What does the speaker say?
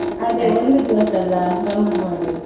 ಅದೇ ಒಂದು ದಿವಸ ಅಲ್ಲ ಗಮ್ಮತ್ ಮಾಡುದು.